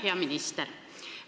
Hea minister!